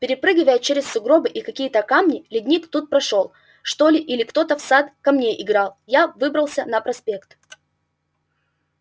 перепрыгивая через сугробы и какие-то камни ледник тут прошёл что ли или ктото в сад камней играл я выбрался на проспект